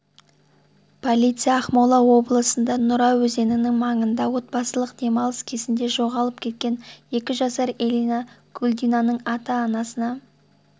полиция ақмола облысында нұра өзенінің маңында отбасылық демалыс кезінде жоғалып кеткен екі жасар эллина кульдинаның ата-анасына